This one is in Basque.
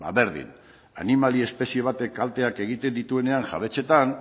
ba berdin animalia espezie batek kalteak egiten dituenean jabetzetan